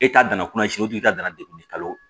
E ka danna kutu ta dan degun de kalo